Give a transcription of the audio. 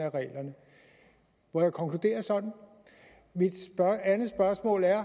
må jeg konkludere sådan mit andet spørgsmål er